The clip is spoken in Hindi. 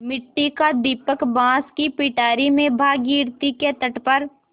मिट्टी का दीपक बाँस की पिटारी में भागीरथी के तट पर